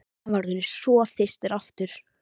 Hann var orðinn svo þyrstur aftur.